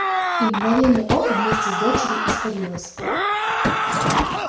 и в мгновение ока вместе с дочерью испарилась